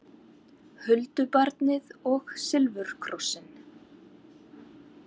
Huldubarnið og silfurkrossinn